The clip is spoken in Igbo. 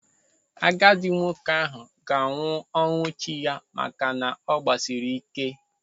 Agadi nwoke ahụ ga-anwụ ọnwụ chi ya maka na ọ gbasiri ike.